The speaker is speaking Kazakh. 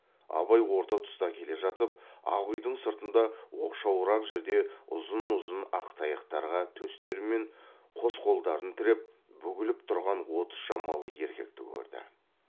абай орта тұста келе жатып ақ үйдің сыртында оқшауырақ жерде ұзын ұзын ақ таяқтарға төстері мен қос қолдарын тіреп бүгіліп тұрған отыз шамалы еркекті көрді